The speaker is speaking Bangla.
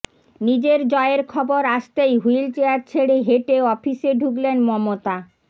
নিজের জয়ের খরব আসতেই হুইল চেয়ার ছেড়ে হেঁটে অফিসে ঢুকলেন মমতা